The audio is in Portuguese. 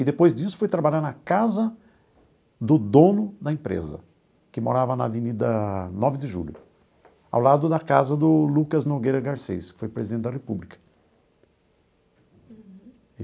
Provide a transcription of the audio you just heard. E depois disso fui trabalhar na casa do dono da empresa, que morava na Avenida Nove de Julho, ao lado da casa do Lucas Nogueira Garcez, que foi presidente da república.